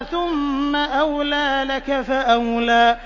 ثُمَّ أَوْلَىٰ لَكَ فَأَوْلَىٰ